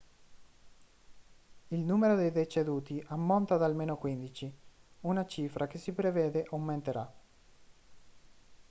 il numero di deceduti ammonta ad almeno 15 una cifra che si prevede aumenterà